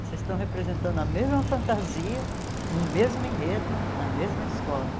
Vocês estão representando a mesma fantasia, no mesmo enredo, na mesma escola.